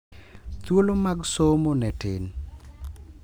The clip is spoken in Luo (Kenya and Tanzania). Thuolo mag somo ne tin,